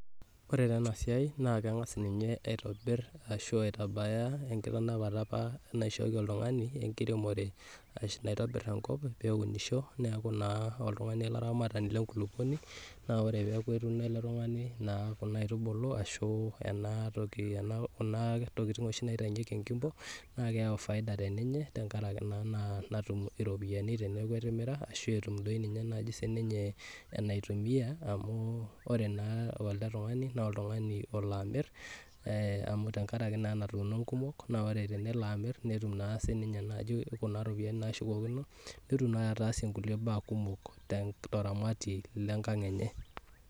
Ore ta enasiai na kengas ninye aitobir ashu aitabaya enkitanapata naishooki oltungani enkiremore naitobir enkop neunisho neaku taa oltungani olaramatani lenkulukuoni neakuore nai kedumu oltungani kuna aitubulu enatoki kunatokitin oshibnaitaunyeki enkimpo na keyau faida tenkaraki na natum iropiyani teneaku etimira arashu ninye enaitumia amu ore na elebtungani na oltungani olo amir tenkaraki na enatoki na ore tenelo amiri netum na sinye kunaropiyani nashukokino netum naabataasie kuna baa kumol teramatie enkang enye.